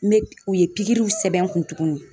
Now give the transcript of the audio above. u ye sɛbɛn n kun tuguni.